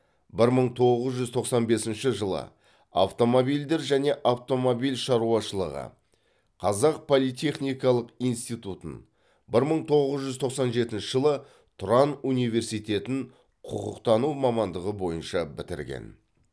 бір мың тоғыз жүз тоқсан бесінші жылы автомобильдер және автомобиль шаруашылығы қазақ политехникалық институтутын бір мың тоғыз жүз тоқсан жетінші жылы тұран университетін құқықтану мамандығы бойынша бітірген